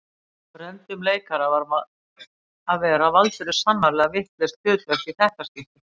Af reyndum leikara að vera valdirðu sannarlega vitlaust hlutverk í þetta skiptið